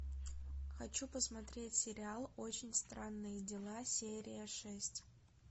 хочу посмотреть сериал очень странные дела серия шесть